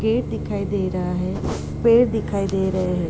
Gate दिखाई दे रहा है। पेड़ दिखाई दे रहे हैं।